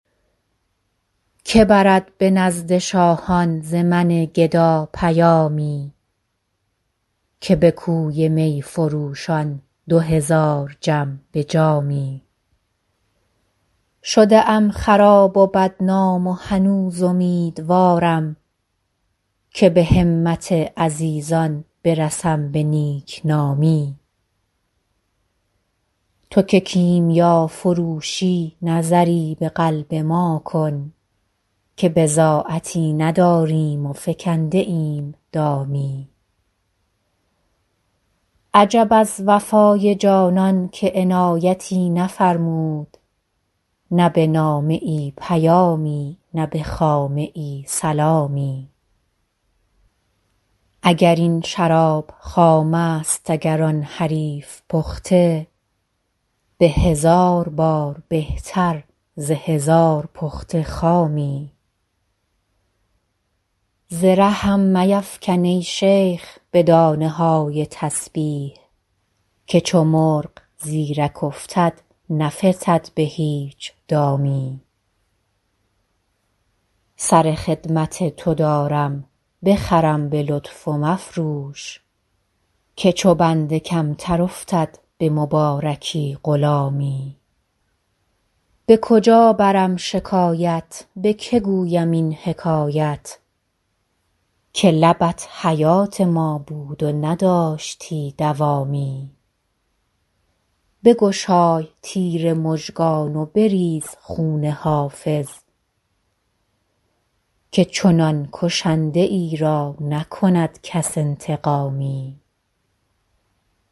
که برد به نزد شاهان ز من گدا پیامی که به کوی می فروشان دو هزار جم به جامی شده ام خراب و بدنام و هنوز امیدوارم که به همت عزیزان برسم به نیک نامی تو که کیمیافروشی نظری به قلب ما کن که بضاعتی نداریم و فکنده ایم دامی عجب از وفای جانان که عنایتی نفرمود نه به نامه ای پیامی نه به خامه ای سلامی اگر این شراب خام است اگر آن حریف پخته به هزار بار بهتر ز هزار پخته خامی ز رهم میفکن ای شیخ به دانه های تسبیح که چو مرغ زیرک افتد نفتد به هیچ دامی سر خدمت تو دارم بخرم به لطف و مفروش که چو بنده کمتر افتد به مبارکی غلامی به کجا برم شکایت به که گویم این حکایت که لبت حیات ما بود و نداشتی دوامی بگشای تیر مژگان و بریز خون حافظ که چنان کشنده ای را نکند کس انتقامی